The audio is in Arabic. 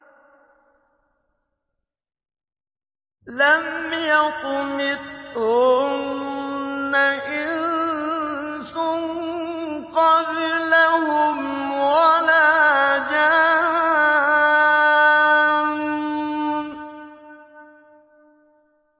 لَمْ يَطْمِثْهُنَّ إِنسٌ قَبْلَهُمْ وَلَا جَانٌّ